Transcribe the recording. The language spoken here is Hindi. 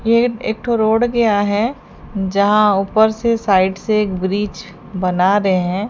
ये एक ठो रोड गया है जहां ऊपर से साइड से एक ब्रिज बना रहे हैं।